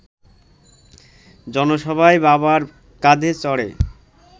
জনসভায় বাবার কাঁধে চড়ে